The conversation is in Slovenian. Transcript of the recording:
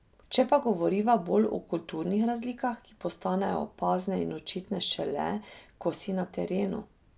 Če pa govoriva bolj o kulturnih razlikah, ki postanejo opazne in očitne šele, ko si na terenu ...